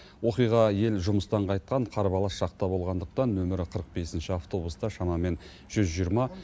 оқиға ел жұмыстан қайтқан қарбалас шақта болғандықтан нөмірі қырық бесінші автобуста шамамен жүз жиырма